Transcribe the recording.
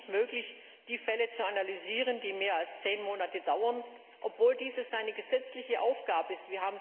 Es war ihm nicht möglich, die Fälle zu analysieren, die mehr als zehn Monate dauern, obwohl dies seine gesetzliche Aufgabe ist.